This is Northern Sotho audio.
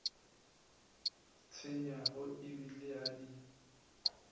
tshwenyago e bile a di